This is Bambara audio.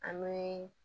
An bɛ